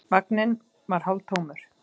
Vagninn var hálftómur.